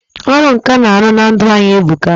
Ọrụ nkà na-arụ na ndụ anyị e buka.